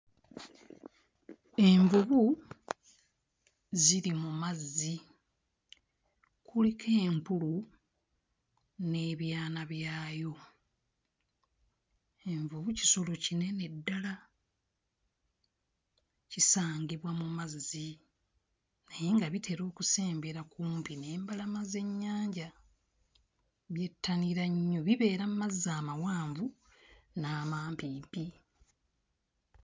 Envubu ziri mu mazzi, kuliko enkulu n'ebyana byayo, envubu kisolo kinene ddala kisangibwa mu mazzi naye nga bitera okusembera kumpi n'embalama z'ennyanja byettanira nnyo, bibeera mmazi amawanvu n'amampimpi